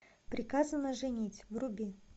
приказано женить вруби